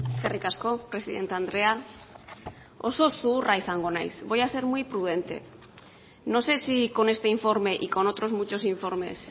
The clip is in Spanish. eskerrik asko presidente andrea oso zuhurra izango naiz voy a ser muy prudente no sé si con este informe y con otros muchos informes